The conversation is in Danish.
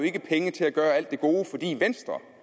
ikke penge til at gøre alt det gode fordi venstre